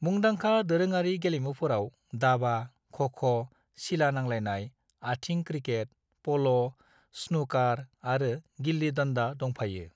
मुंदांखा दोरोङारि गेलेमुफोराव दाबा, ख'-ख', सिला-नांलाइनाय, आथिं क्रिकेट, प'ल', स्नुकार आरो गिल्ली-डंडा दंफायो।